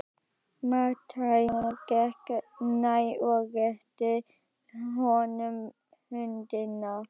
Marteinn gekk nær og rétti honum höndina.